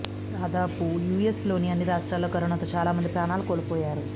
దాదాపు యూఎస్ లోని అన్ని రాష్ట్రాల్లో కరోనాతో చాలా మంది ప్రాణాలు కోల్పోయారు